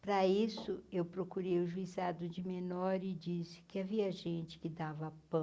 Para isso, eu procurei o Juizado de Menor e disse que havia gente que dava